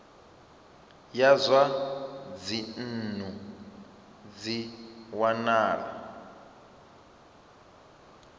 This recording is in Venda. ya zwa dzinnu zwi wanala